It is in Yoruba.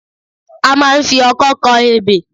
A máa ń fi ọkọ kọ ebè